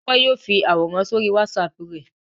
Ṣé Tọ́pẹ́ yóò fi àwòrán sórí WhatsApp rẹ̀?